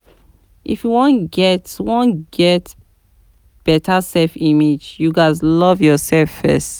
If you wan get wan get beta self image, you ghas love yourself first